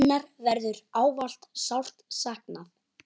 Hennar verður ávallt sárt saknað.